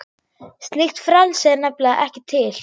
Slíkt frelsi er nefnilega ekki til.